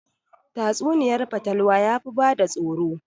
Tatsuniyar fatalwa yafi bada tsoro